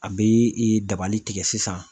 A bɛ i dabali tigɛ sisan.